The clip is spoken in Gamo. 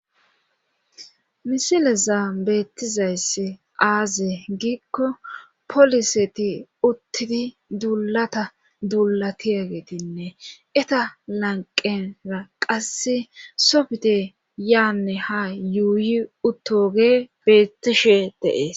misileza beettizayss aaze giikko poliseti uttidi dullata dulatiyagetinne eta lanqenra qasse softe yaanne ha yuuyi uttoge beettishe deees